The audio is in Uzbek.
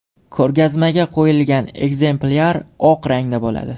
Ko‘rgazmaga qo‘yilgan ekzemplyar oq rangda bo‘ladi.